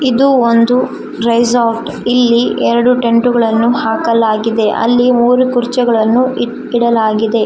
ಇದು ಒಂದು ರೈಸಾರ್ಟ್ ಇಲ್ಲಿ --